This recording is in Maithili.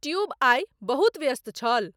ट्युब आइ बहुत व्यस्त छल